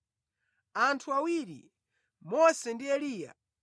Anthu awiri, Mose ndi Eliya,